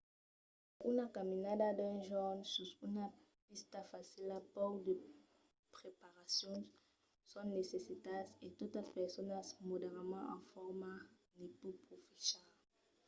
per una caminada d'un jorn sus una pista facila pauc de preparacions son necitas e tota persona moderadament en forma ne pòt profechar